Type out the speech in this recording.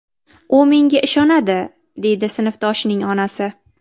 U menga ishonadi”, deydi sinfdoshining onasi.